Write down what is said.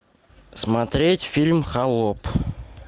смотреть фильм холоп